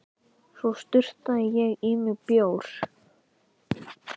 Svo sturtaði ég í mig bjór.